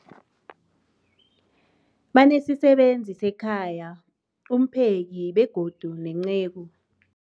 Banesisebenzi sekhaya, umpheki, begodu nenceku.